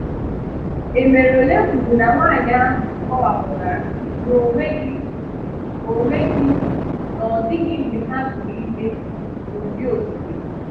Emerole kwùrù na nwáànyị ahụ kọ̀wapùtárà na ọ̀nweghị ọ̀nweghị na ọ dịghị mgbe ha tụrụ ime n’ụdị̀ okike.